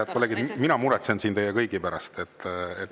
Head kolleegid, mina muretsen siin teie kõigi pärast.